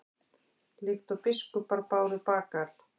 líkt og biskupar báru bagal